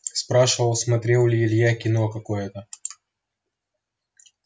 спрашивал смотрел ли илья кино какое-то